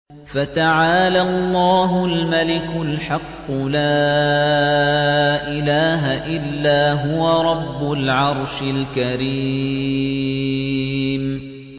فَتَعَالَى اللَّهُ الْمَلِكُ الْحَقُّ ۖ لَا إِلَٰهَ إِلَّا هُوَ رَبُّ الْعَرْشِ الْكَرِيمِ